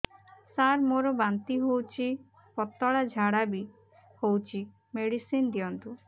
ସାର ମୋର ବାନ୍ତି ହଉଚି ପତଲା ଝାଡା ବି ହଉଚି ମେଡିସିନ ଦିଅନ୍ତୁ